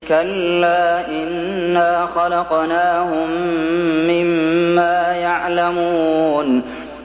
كَلَّا ۖ إِنَّا خَلَقْنَاهُم مِّمَّا يَعْلَمُونَ